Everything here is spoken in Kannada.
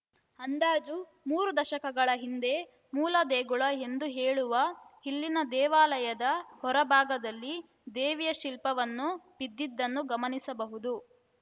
ಅಂದಾಜು ಮೂರು ದಶಕಗಳ ಹಿಂದೆ ಮೂಲ ದೇಗುಲ ಎಂದು ಹೇಳುವ ಇಲ್ಲಿನ ದೇವಾಲಯದ ಹೊರಭಾಗದಲ್ಲಿ ದೇವಿಯ ಶಿಲ್ಪವನ್ನು ಬಿದ್ದಿದ್ದನ್ನು ಗಮನಿಸಬಹುದು